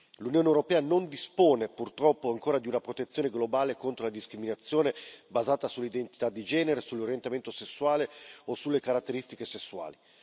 L'Unione europea non dispone, purtroppo, ancora di una protezione globale contro la discriminazione basata sull'identità di genere, sull'orientamento sessuale o sulle caratteristiche sessuali.